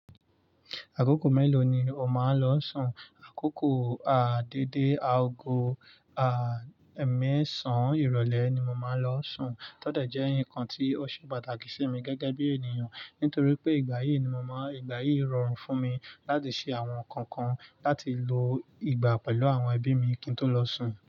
Àkókò mélòó ni o máa ń lọ sùn? Àkókò dédé aago mẹ́sàn irọlẹ ni mo máa ń lọ sùn. Tótẹ̀ jẹ́ nǹkan tí ó ṣe pàtàkì sí mi gẹ́gẹ́ bí ènìyàn. Nítorí pé ìgbà yìí ni mo máa, ìgbà yìí rọrùn fún mi láti ṣe àwọn nǹkan kan, láti lo ìgbà pẹ̀lú àwọn ẹbí mi kí n tó lọ sùn.